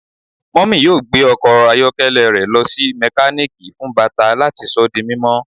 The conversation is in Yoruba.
Mummy yoo gbe ọkọ ayọkẹlẹ rẹ lọ si mekaniki fun bata lati sọ di mimọ